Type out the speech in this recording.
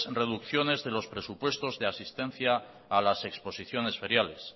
reducciones de los presupuestos de asistencia a las exposiciones feriales